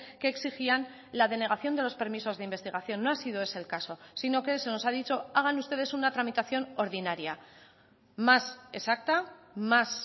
que exigían la denegación de los permisos de investigación no ha sido ese el caso sino que se nos ha dicho hagan ustedes una tramitación ordinaria más exacta más